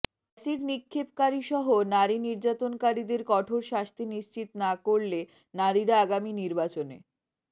acid নিক্ষেপকারীসহ নারী নির্যাতনকারীদের কঠোর শাস্তি নিশ্চিত না করলে নারীরা আগামী নির্বাচনে